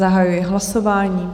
Zahajuji hlasování.